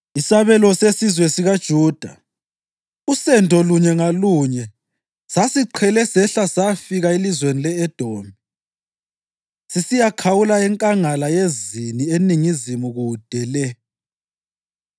Isabelo sesizwe sikaJuda, usendo lunye ngalunye sasiqhele sehla sayafika elizweni le-Edomi, sisiyakhawula eNkangala yeZini eningizimu kude le.